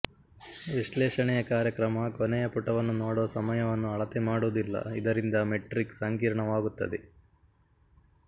ವಿಶ್ಲೇಷಣೆಯ ಕಾರ್ಯಕ್ರಮ ಕೊನೆಯ ಪುಟವನ್ನು ನೋಡುವ ಸಮಯವನ್ನು ಅಳತೆ ಮಾಡುವುದಿಲ್ಲ ಇದರಿಂದ ಮೆಟ್ರಿಕ್ ಸಂಕೀರ್ಣವಾಗುತ್ತದೆ